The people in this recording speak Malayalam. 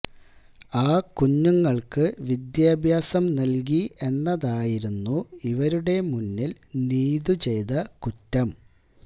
ആ കുഞ്ഞുങ്ങള്ക്ക് വിദ്യാഭ്യാസം നല്കി എന്നതായിരുന്നു ഇവരുടെ മുന്നില് നീതു ചെയ്ത കുറ്റം